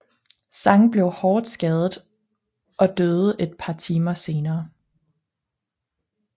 Zhang blev hårdt skadet og døde et par timer senere